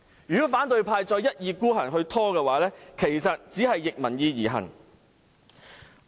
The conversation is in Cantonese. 如果反對派再一意孤行地拖延，只是逆民意而行。